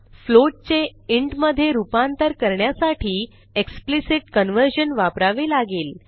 float चे int मधे रूपांतर करण्यासाठी एक्सप्लिसिट कन्व्हर्जन वापरावे लागेल